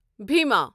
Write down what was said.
Bhima